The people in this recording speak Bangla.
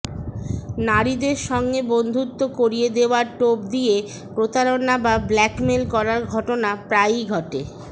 নারীদের সঙ্গে বন্ধুত্ব করিয়ে দেওয়ার টোপ দিয়ে প্রতারণা বা ব্ল্যাকমেইল করার ঘটনা প্রায়ই ঘটে